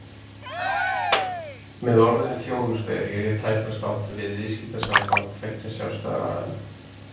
Með orðinu þjónusta er hér tæpast átt við viðskiptasamband tveggja sjálfstæðra aðila.